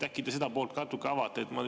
Äkki te seda poolt ka natuke avate?